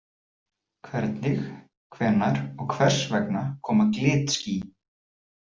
Hvernig, hvenær og hvers vegna koma glitský?